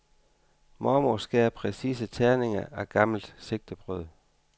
Mormor skærer præcise terninger af gammelt sigtebrød.